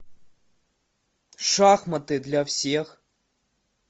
шахматы для всех